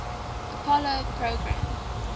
apollo program